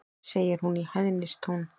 segir hún í hæðnistón.